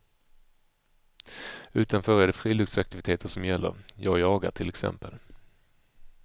Utanför det är det friluftsaktiviteter som gäller, jag jagar till exempel.